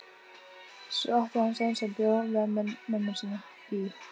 Svo átti hann son sem bjó með mömmu sinni í